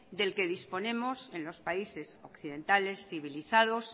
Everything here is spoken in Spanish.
del que disponemos en los países occidentales civilizados